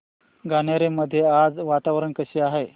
गणोरे मध्ये आज वातावरण कसे आहे